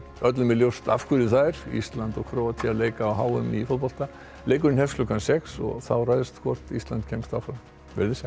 öllum er ljóst af hverju það er Ísland og Króatía leika á h m í fótbolta leikurinn hefst klukkan sex og þá ræðst hvort Ísland kemst áfram veriði sæl